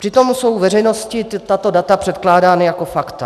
Přitom jsou veřejnosti tato data předkládána jako fakta.